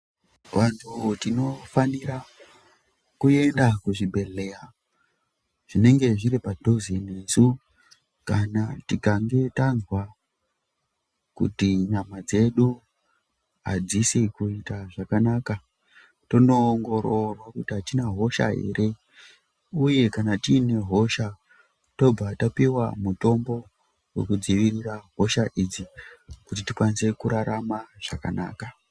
Vantu tinofanira kuyenda kuzvibhedhleya, zvinenge zviri padhuze nesu, kana tikange tazwa kuti nyama dzedu adzisi kuyita zvakanaka, tonoongororwa kuti atina hosha ere, uye kana tiyine hosha, tobva tapiwa mutombo wokudzivirira hosha idzi kuti tikwanise kurarama zvakanaka,